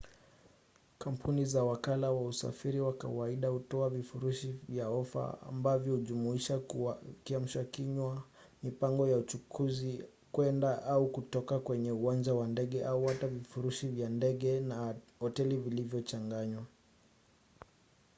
kampuni za wakala wa usafiri kwa kawaida hutoa vifurushi vya ofa ambavyo hujumuisha kiamshakinywa mipango ya uchukuzi kwenda/kutoka kwenye uwanja wa ndege au hata vifurushi vya ndege na hoteli vilivyochanganywa